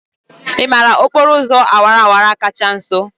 Ị maara okporo ụzọ awara awara kacha nso?